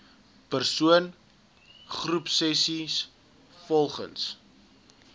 persoon groepsessies volgens